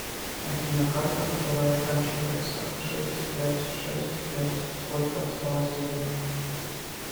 афина карта которая оканчивается шесть пять шесть пять сколько осталось денег